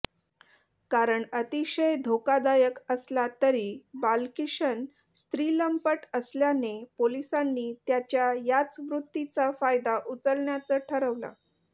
कारण अतिशय धोकादायक असला तरी बालकिशन स्त्रीलंपट असल्याने पोलिसांनी त्याच्या याच वृत्तीचा फायदा उचलण्याचं ठरवलं